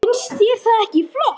Finnst þér það ekki flott?